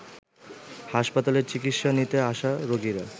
হাসপাতালে চিকিৎসা নিতে আসা রোগীরা